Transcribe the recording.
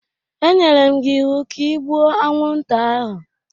E nyere m gi iwu ka i gbuo anwụnta ahụ!